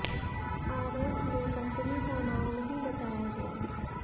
आरोप में कंपनी का नाम नहीं बताया गया